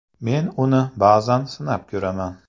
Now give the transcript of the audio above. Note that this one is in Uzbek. Men uni ba’zan sinab ko‘raman.